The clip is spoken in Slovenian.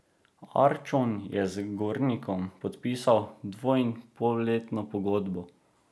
Arčon je z Gornikom podpisal dvoinpolletno pogodbo.